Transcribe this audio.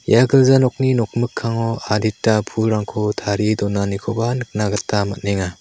ia gilja nokni nok mikango adita pulrangko tarie donanikoba nikna gita man·enga.